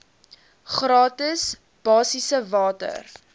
gratis basiese water